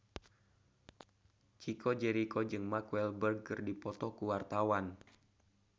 Chico Jericho jeung Mark Walberg keur dipoto ku wartawan